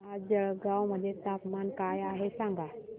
आज जळगाव मध्ये तापमान काय आहे सांगा